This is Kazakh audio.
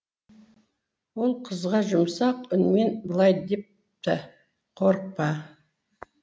ол қызға жұмсақ үнмен былай депті қорықпа